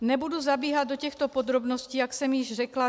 Nebudu zabíhat do těchto podrobností, jak jsem již řekla.